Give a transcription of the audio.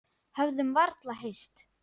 Höfðum varla hist.